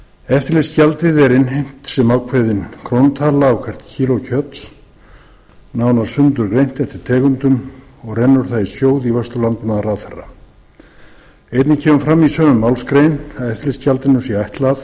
eftirlitsgjaldið er innheimt sem ákveðin krónutala á hvert kíló kjöts nánar sundurgreint eftir tegundum og rennur það í sjóð í vörslu landbúnaðarráðherra einnig kemur fram í sömu málsgrein að eftirlitsgjaldinu sé ætlað að standa